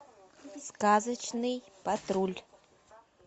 сказочный патруль